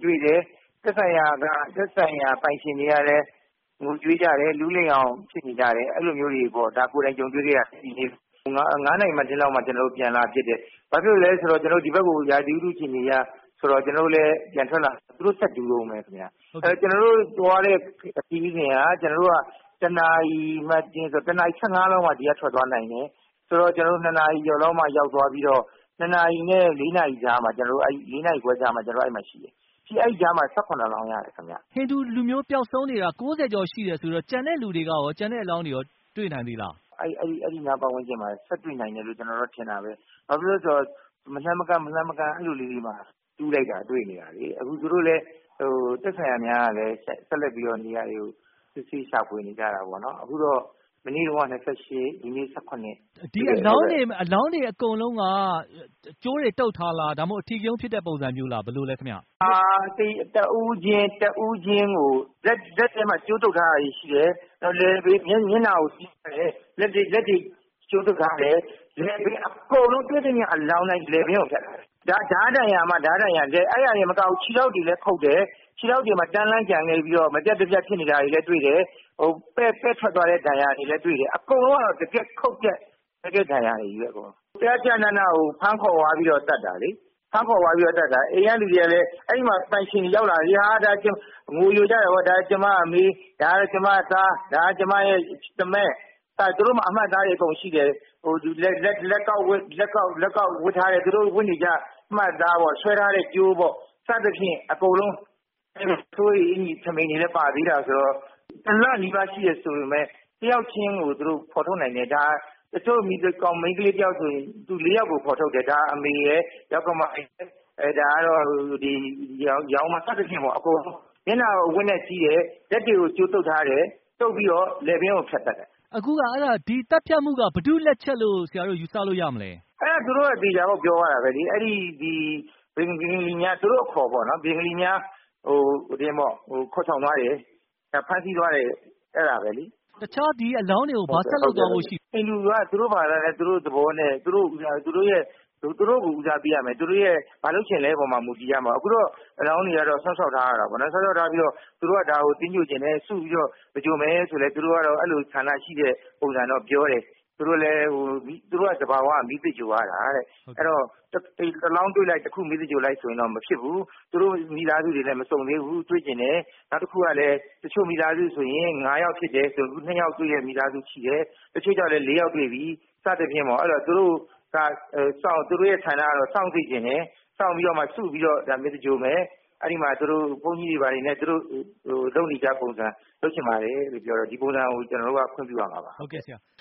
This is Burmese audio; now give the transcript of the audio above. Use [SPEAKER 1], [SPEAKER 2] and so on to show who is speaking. [SPEAKER 1] တွေ့တယ်။ သက်ဆိုင်ရာပိုင်ရှင်တွေကလည်း ငိုကြွေးကြတယ်။ လူးလိမ့်အောင်ဖြစ်နေကြတယ်။ အဲလိုမျိုးတွေပေါ့ ဒါကိုယ်တိုင်ကြုံတွေ့ခဲ့ရတယ်။ ၅ နာရီလောက်မှာကျနော်တို့ ပြန်လာဖြစ်တယ်။ ဘာဖြစ်လို့လဲဆိုတော့ ကျနော်တို့ ဒီဘက်ကို ရာသီဥတုအခြေအနေအရ ကျနော်တို့လည်းပြန်ထွက်လာတယ် သူတို့ကတော့ ဆက်ပြီးတူးတုန်းပဲ ခင်ဗျ။ ကျနော်တို့သွားတဲ့ ခရီးစဉ်က ၁ နာရီ ၁၅ လောက်မှ ထွက်သွားနိုင်တယ်၊ ဆိုတော့ ကျနော်တို့ ၂ နာရီကျော်လောက်မှ ရောက်သွားပြီးတော့ ၂ နာရီနဲ့ ၄ နာရီခွဲကြားလောက်မှာ ကျနော်တို့ အဲဒီမှာရှိတယ်။ အဲဒီကြားမှာ ၁၇ လောင်းရတယ်ခင်ဗျ။
[SPEAKER 2] ဟိန္ဒူလူမျိုးပျောက်ဆုံးနေတာ ၉၀ ကျော်ရှိတယ်ဆိုတော့ ကျန်တဲ့လူတွေရော ကျန်တဲ့အလောင်းတွေရော တွေ့နိုင်သေးလား။
[SPEAKER 1] အဲဒီနား ပတ်ဝန်းကျင်မှာ ဆက်တွေ့နိုင်တယ်လို့ ကျနော်တို့ကထင်တာပဲ ဘာဖြစ်လို့လဲဆိုတော့ မလှမ်းမကမ်းလေးတွေမှာ တူလိုက်တာတွေ့နေရတယ်လေ။ အခုဆိုရင် သက်ဆိုင်ရာများကလည်း ဆက်လက်ပြီးတော့ နေရာတွေကို စစ်ဆေးရှာဖွေနေကြတာပေါ့နော် အခုတော့ မနေ့တုန်းက ၂၈ နဲ့ ဒီ နေ့တွေ့တာ ၁၇လောင်း။
[SPEAKER 2] ဒီအလောင်းတွေအကုန်လုံးက ကြိုးတွေတုတ်ထားလား၊ ဒါမှမဟုတ် အဓိကရုဏ်းဖြစ်တဲ့ ပုံစုံမျိုးလား။
[SPEAKER 1] တဦးချင်းကို လက်ထဲမှာ ကြိုးတုတ်ထားတာတွေရှိတယ်။ နောက်ပြီးမျက်နှာကို စည်းထားတယ်၊ လက်တွေကြိုးတုတ်ထားတယ်၊ နောက်ပြီးတွေ့သမျှအလောင်းတိုင်း လည်ပင်းကိုဖြတ်ထားတယ်။ ဓါးဒဏ်ရာတွေ အဲဒါတွေတောင်မကဘူး ခြေထောက်တွေတောင် ခုတ်ထားတယ်၊ ခြေထောက်တွေမှာ တန်းလန်းကျန်ခဲ့ပြီးတော့ မပြတ်တပြတ်ဖြစ်နေတာတွေလည်း တွေ့တယ်။ ပဲ့ထွက်သွားတဲ့ ဒဏ်ရာတွေလည်းတွေ့တယ်။ အကုန်လုံးကတော့ တကယ့်ခုတ်တဲ့ ဒဏ်ရာတွေကြီးပဲ ။ ကျကျနနကို ဖမ်းခေါ်သွားပြီးတော့ သတ်တာလေ။ အိမ်ကလူတွေကလည်း အဲဒီမှာ ပိုင်ရှင်တွေရောက်လာကြပြီးတော့ ငိုယိုကြတယ်ပေါ့။ ဒါကျမအမ၊ ကျမ သား၊ ကျမ သားမက် ။ သူတို့မှာ အမှတ်အသားတွေ အကုန်ရှိတယ်။ လက်ကောက်ဝတ်တွေ နောက်သူတို့ဝတ်နေကြတဲ့အမှတ်အသားပေါ့ ၊ ဆွဲထားတဲ့ ကြိုးပေါ့ ။ စသဖြင့် အကုန်လုံး ဝတ်ထားတဲ့ အင်္ကျ ီတွေလည်းပါသေးတာပေါ့ ဆိုတော့ ၁ လနီးပါးရှိပြီဆိုပေမယ့် ၁ ယောက်ချင်းကို ဖော်ထုတ်နိုင်တယ်။ တချို့မိန်းကလေး ၁ ယောက်ဆိုရင် လူ ၄ ယောက်ကို ဖော်ထုတ်တယ်။ အမေရယ်၊ ယောက္ခမရယ်၊ ယောင်းမတို့ပေါ့။ မျက်နှာကို အဝတ်နဲ့ စည်းတယ် ၊ လက်တွေကို ကြိုးတုတ်ထားတယ်၊ တုတ်ပြီးတော့ လည်ပင်းကို ဖြတ်သတ်တယ်။
[SPEAKER 2] အခု ဒီသတ်ဖြတ်မှုက ဘယ်သူ့လက်ချက်လို့ ဆရာတို့ ယူဆလို့ရမလဲ။
[SPEAKER 1] သူတို့က သေချာပေါက်ပြောသွားတာပဲလေ၊ အဲဒီ ဘင်္ဂါလီများ သူတို့အခေါ်ပေါ့နော် ဘင်္ဂါလီများဖမ်းဆီးသွားတယ်၊ ခေါ်ဆောင်သွားတယ်။
[SPEAKER 2] တခြားဒီအလောင်းတွေကို ဘာဆက်လုပ်သွားဖို့ရှိသလဲ
[SPEAKER 1] ဟိန္ဒူက သူ့တို့ဘာသာ၊ သူတို့သဘောနဲ့ သူတို့ကို ဦးစားပေးရမယ် ၊ သူတို့ ဘာလုပ်ချင်သလဲပေါ်မှာ မူတည်တယ်။ အခုတော့ အလောင်းတွေကတော့ စောင့်ရှောက်ထားရတာပေါ့နော်။ သူတို့ကတော့ ဒါကို သင်္ဂြ ိုဟ်ချင်တယ်၊ စုပြီးတော့ လုပ်မယ်ဆိုတဲ့ သူတို့အဲဒီလိုဆန္ဒရှိတဲ့ ပုံစံတော့ပြောတယ်။ သူတို့သဘာဝက မီးသင်္ဂြ ိုဟ်ရတာတဲ့၊ အဲဒီတော့ တလောင်းတွေ့လိုက်မီးသင်္ဂြ ိုဟ်လိုက်ဆိုရင် မဖြစ်ဘူး၊ မိသားစုတွေလည်း မစုံသေးဘူး ၊ ထပ်တွေ့ချင်တယ်။ နောက်တခုကလည်း တချို့မိသားစုဆိုရင် ၅ ယောက်ဖြစ်တယ်၊ အခုက ၂ ယောက်ပဲ တွေ့သေးတဲ့ မိသားစုရှိတယ်။ တချို့လည်း ၄ ယောက်တွေ့ပြီ စသဖြင့်ပေါ့ ။ သူတို့ ဆန္ဒကတော့ စောင့်စေချင်တယ်၊ စောင့်ပြီးတော့မှ စုပြီးသင်္ဂြ ိုဟ်မယ် အဲဒီမှာ ဘုန်းကြီးတွေဘာတွေနဲ့ သူတို့လုပ်နေကြပုံစုံ လုပ်ချင်ပါတယ်လို့ပြောတော့ ဒီပုံစုံကို ကျနော်တို့က ခွင့်ပြုရမှာပါ။
[SPEAKER 2] ဟုတ်ကဲ့ဆရာ